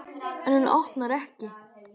En hún opnar ekki.